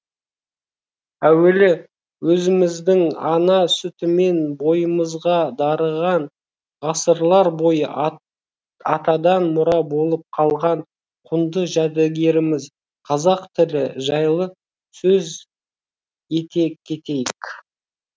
әуелі өзіміздің ана сүтімен бойымызға дарыған ғасырлар бойы атадан мұра болып қалған құнды жәдігеріміз қазақ тілі жайлы сөз ете кетейік